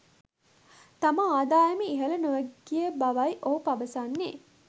තම ආදායම ඉහල නො ගිය බවයි ඔහු පවසන්නේ.